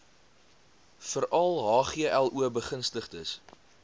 veral hglo begunstigdes